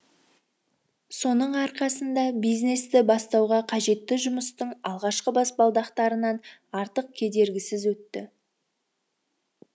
соның арқасында бизнесті бастауға қажетті жұмыстың алғашқы баспалдақтарынан артық кедергісіз өтті